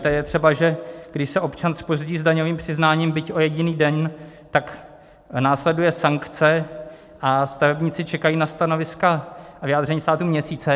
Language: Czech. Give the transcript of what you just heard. To je třeba, že když se občan zpozdí s daňovým přiznáním, byť o jediný den, tak následuje sankce a stavebníci čekají na stanoviska a vyjádření státu měsíce.